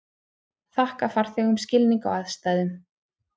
Þakka farþegum skilning á aðstæðum